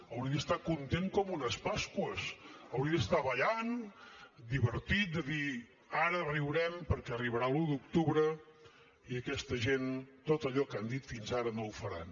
hauria d’estar content com unes pasqües hauria d’estar ballant divertit de dir ara riurem perquè arribarà l’un d’octubre i aquesta gent tot allò que han dit fins ara no ho faran